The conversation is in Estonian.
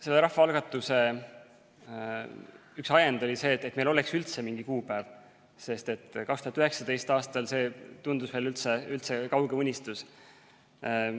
Selle rahvaalgatuse üks ajend oli see, et meil oleks üldse mingi kuupäev, sest 2019. aastal see tundus veel väga kauge unistus.